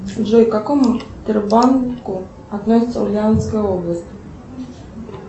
джой к какому сбербанку относится ульяновская область